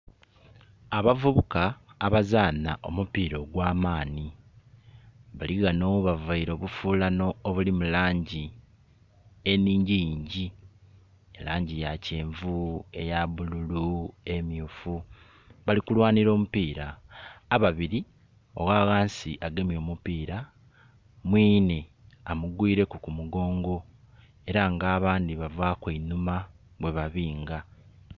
Abavubuka abazaana omupiira ogw'amaani bali ghano bavaile obufulano obuli mu langi enhingiyingi, elangi ya kyenvu, eya bululu, emyufu, bali kulwanira omupiira. Ababiri oghaghansi agemye omupiira, mwine amugwireku ku mugongo, era nga abandi bavaku einuma bwe babinga.